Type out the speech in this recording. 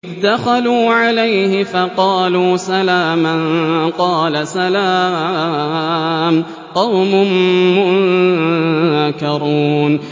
إِذْ دَخَلُوا عَلَيْهِ فَقَالُوا سَلَامًا ۖ قَالَ سَلَامٌ قَوْمٌ مُّنكَرُونَ